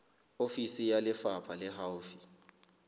ofisi ya lefapha le haufi